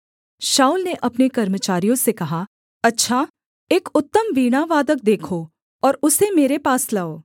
शाऊल ने अपने कर्मचारियों से कहा अच्छा एक उत्तम वीणावादक देखो और उसे मेरे पास लाओ